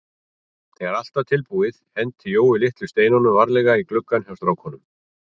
Þegar allt var tilbúið henti Jói litlu steinunum varlega í gluggann hjá stráknum.